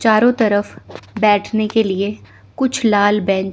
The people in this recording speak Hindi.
चारों तरफ बैठने के लिए कुछ लाल बेंन--